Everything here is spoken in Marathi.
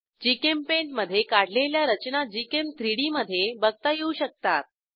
जीचेम्पेंट मधे काढलेल्या रचना gchem3डी मधे बघता येऊ शकतात